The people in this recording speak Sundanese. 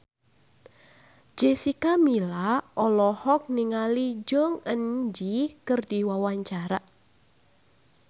Jessica Milla olohok ningali Jong Eun Ji keur diwawancara